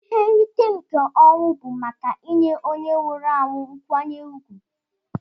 Ihe nrite nke ọnwụ bu maka inye onye nwụrụ anwu nkwanye ugwu.